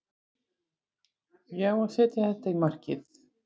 Ég á að setja þetta í markið.